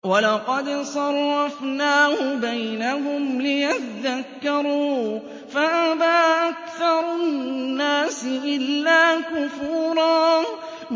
وَلَقَدْ صَرَّفْنَاهُ بَيْنَهُمْ لِيَذَّكَّرُوا فَأَبَىٰ أَكْثَرُ النَّاسِ إِلَّا كُفُورًا